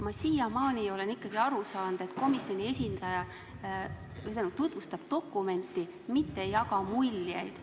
Ma siiamaani olen aru saanud, et komisjoni esindaja tutvustab ikkagi dokumenti, mitte ei jaga muljeid.